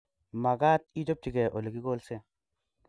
Magat ichopchigei ole kikolse